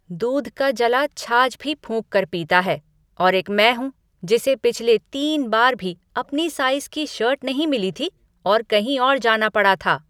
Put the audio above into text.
दूध का जला छाछ भी फूंक कर पीता है और एक मैं हूँ जिसे पिछले तीन बार भी अपनी साइज़ की शर्ट नहीं मिली थी और कहीं और जाना पड़ा था।